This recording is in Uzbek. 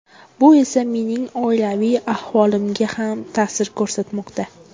Bu esa mening oilaviy ahvolimga ham ta’sir ko‘rsatmoqda.